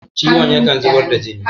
ciwon yakan zubar da jini